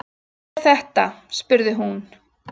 Hvað er þetta spurði hún.